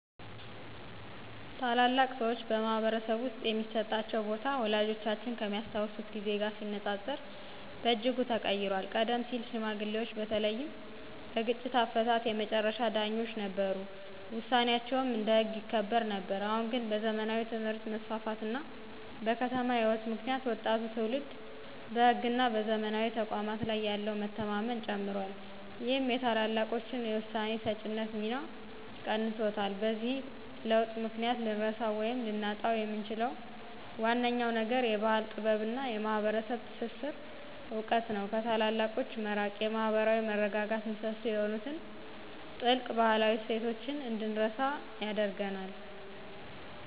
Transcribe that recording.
ታላላቅ ሰዎች በማኅበረሰብ ውስጥ የሚሰጣቸው ቦታ ወላጆቻችን ከሚያስታውሱት ጊዜ ጋር ሲነጻጸር በእጅጉ ተቀይሯል። ቀደም ሲል ሽማግሌዎች በተለይም በግጭት አፈታት የመጨረሻ ዳኞች ነበሩ፤ ውሳኔያቸውም እንደ ሕግ ይከበር ነበር። አሁን ግን በዘመናዊ ትምህርት መስፋፋት እና በከተማ ሕይወት ምክንያት ወጣቱ ትውልድ በሕግና በዘመናዊ ተቋማት ላይ ያለው መተማመን ጨምሯል ይህም የታላላቆችን የውሳኔ ሰጪነት ሚና ቀንሶታል። በዚህ ለውጥ ምክንያት ልንረሳው ወይም ልናጣው የምንችለው ዋነኛው ነገር የባሕል ጥበብና የማኅበረሰብ ትስስር እውቀት ነው። ከታላላቆች መራቅ የማኅበራዊ መረጋጋት ምሰሶ የሆኑትን ጥልቅ ባህላዊ እሴቶች እንድንረሳ ያደርገናል።